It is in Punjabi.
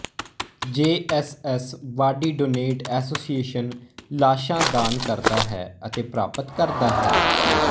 ਜੇ S S body donate association ਲਾਸ਼ਾਂ ਦਾਨ ਕਰਦਾ ਹੈ ਅਤੇ ਪ੍ਰਾਪਤ ਕਰਦਾ ਹੈ